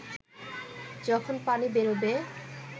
যখন পানি বেরোবে